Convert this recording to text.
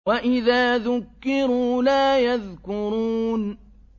وَإِذَا ذُكِّرُوا لَا يَذْكُرُونَ